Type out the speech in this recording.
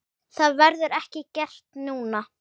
Það verður ekki gert núna.